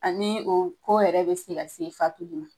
Ani o ko yɛrɛ bɛ fa tguni.